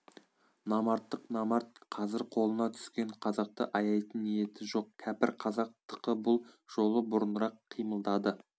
намарттық намарт қазір қолына түскен қазақты аяйтын ниеті жоқ кәпір қазақ тықы бұл жолы бұрынырақ қимылдады